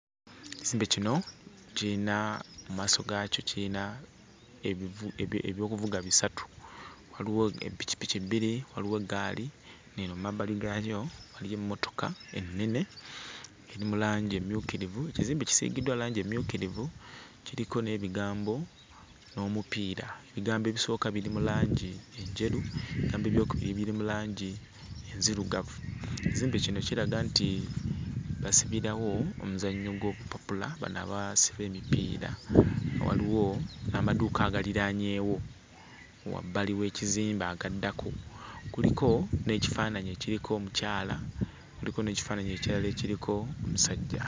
Ekizimbe kino kiyina mu maaso gaakyo kiyina ebivu ebi eby'okuvuga bisatu, waliwo eppikipiki bbiri, waliwo eggaali, eno emabbali gaayo waliyo emmotoka ennene eri mu langi emmyukirivu. Ekizimbe kisiigiddwa langi emmyukirivu, kiriko n'ebigambo n'omupiira. Ebigambo ebisooka biri mu langi enjeru, ebigambo eby'okubiri biri mu langi nzirugavu. Ekizimbe kino kiraga nti basibirawo omuzannyo gw'obupapula bano abasiba emipiira. Waliwo n'amadduuka agaliraanyeewo wabbali w'ekizimbe agaddako. Kuliko n'ekifaananyi ekiriko omukyala, kuliko n'ekifaananyi ekirala ekiriko omusajja.